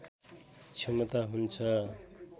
क्षमता हुन्छ